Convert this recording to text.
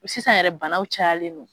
U sisan yɛrɛ banaw cayalen don